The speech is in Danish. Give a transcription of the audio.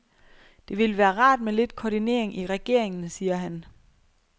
Det ville være rart med lidt koordinering i regeringen, siger han.